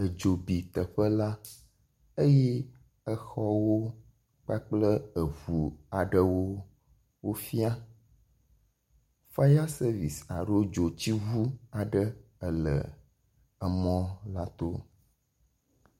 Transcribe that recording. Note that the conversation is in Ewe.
Edzo bi teƒe la, eye exɔwo kpakple eŋu aɖewo wofia, fire service aɖo dzotsiŋu aɖe ele emɔ la to